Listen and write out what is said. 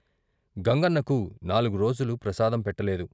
గంగన్నకు నాల్గు రోజులు ప్రసాదం పెట్టలేదు.